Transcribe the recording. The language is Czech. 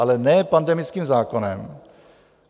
Ale ne pandemickým zákonem.